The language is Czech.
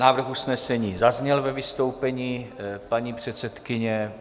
Návrh usnesení zazněl ve vystoupení paní předsedkyně.